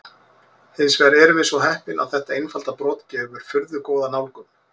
Hins vegar erum við svo heppin að þetta einfalda brot gefur furðu góða nálgun.